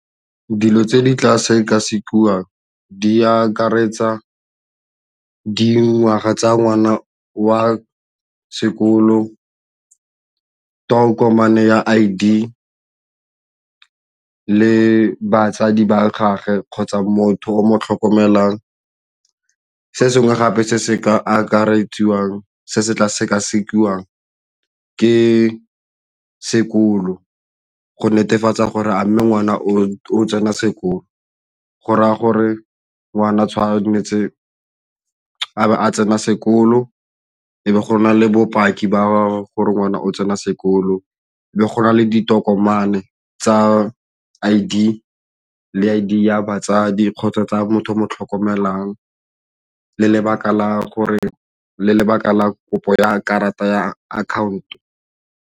Dilo tse di tla sekasekiwang di akaretsa dingwaga tsa ngwana wa sekolo, tokomane ya I_D, batsadi ba gagwe kgotsa motho o mo tlhokomelang. Se sengwe gape se se ka akarediwang se se tla sekasekiwang ke sekolo go netefatsa gore a mme ngwana o tsena sekolo go raya gore ngwana tshwanetse a tsena sekolo e be go na le bopaki ba gore ngwana o tsena sekolo be go na le ditokomane tsa I_D le I_D ya batsadi kgotsa tsa motho o mo tlhokomelang le lebaka la kopo ya karata ya account-o.